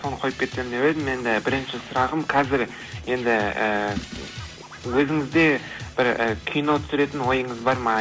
соны қойып кетсем деп едім енді бірінші сұрағым қазір енді ііі өзіңізде бір і кино түсіретін ойыңыз бар ма